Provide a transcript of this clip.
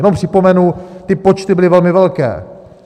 Jenom připomenu, ty počty byly velmi velké.